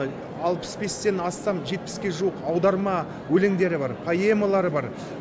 алпыс бестен астам жетпіске жуық аударма өлеңдері бар поэмалары бар